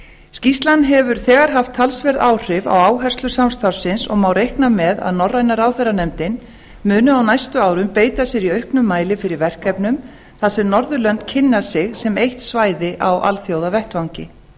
skýrslan hefur þegar haft talsverð áhrif á áherslur samstarfsins og má reikna með að norræna ráðherranefndin muni á næstu árum beita sér í auknum mæli fyrir verkefnum þar sem norðurlönd kynna sig sem eitt svæði á alþjóðavettvangi